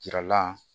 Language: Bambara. Yira la